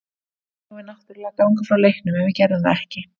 Þar eigum við náttúrlega að ganga frá leiknum en við gerðum það ekki.